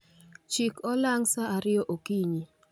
Chik olang' sa ariyo okinyi